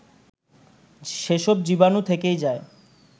সেসব জীবাণু থেকেই যায়